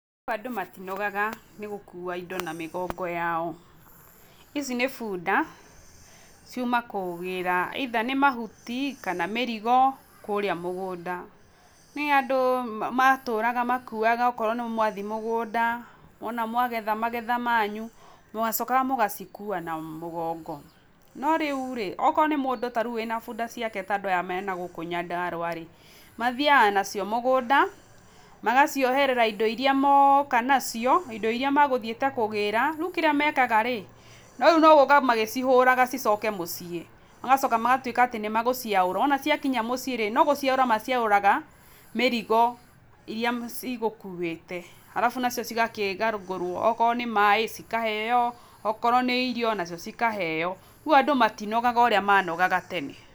Gũkũ andũ matinogaga nĩgũkua indo na mĩgongo yao, ici nĩ bunda ciuma kũgĩra either nĩ mahuti kana mĩrigo kũrĩa mũgunda, nĩ andũ matũraga makoragwa akorwo wathii mũgũnda wona mwagetha magetha manyu mwacokaga mũgacikua na mũgongo, no rĩũ rĩ ,akorwo nĩ mũndũ akorwo wĩna bunda ciake ta andũ aya menagũkũ Nyandarũa rĩ, mathiaga nacio mũgũnda magacioherera indo irĩa mũka nacio, indo iria mekũthiĩtie kũgĩra kĩrĩa mekaga rĩ, rĩũ nĩgũka magĩcihũraga macoke mũciĩ, magacoka magatuĩka atĩ nĩmegũciaũra, wona ciakinya mũciĩ rĩ ,nogũciaúũa maciaũraga mĩrigo iria cigũkuĩte, arabu nacio cikegagũruo wakorwo nĩ maĩ cikaheo, wakorwo nĩ irio nacio cikaheo rĩũ andũ matinogaga ũrĩa manogaga tene.